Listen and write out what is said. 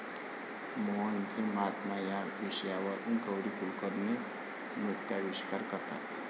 मोहनसे महात्मा' या विषयावर गौरी कुलकर्णी नृत्याविष्कार करतात.